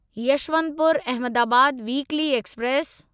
Yesvantpur Ahmedabad weekly express